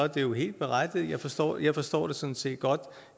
det helt berettiget jeg forstår jeg forstår det sådan set godt